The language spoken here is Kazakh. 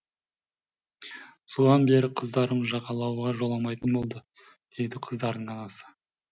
содан бері қыздарым жағалауға жоламайтын болды дейді қыздардың анасы